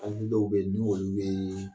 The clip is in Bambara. dɔw bɛ yen ni olu bɛ